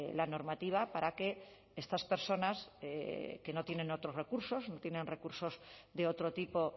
la normativa para que estas personas que no tienen otros recursos no tienen recursos de otro tipo